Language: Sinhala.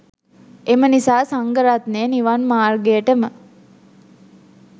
එම නිසා සංඝරත්නය නිවන් මාර්ගයටම